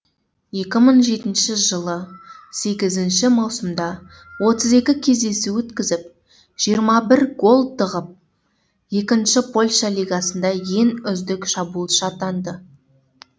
екі мың жетінші сегізінші маусымда отыз екі кездесу өткізіп жиырма бір гол тығып екінші польша лигасында ең үздік шабуылшы атанды